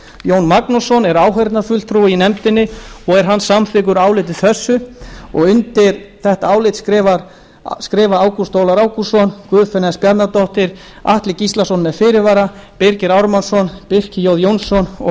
jón magnússon er áheyrnarfulltrúi í nefndinni og er hann samþykkur áliti þessu undir þetta álit skrifa ágúst ólafur ágústsson guðfinna s bjarnadóttir atli gíslason með fyrirvara birgir ármannsson birkir j jónsson og